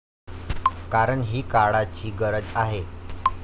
कारण, ही काळाची गरज आहे.